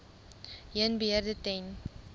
heen beheer ten